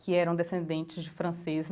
que eram descendentes de francês.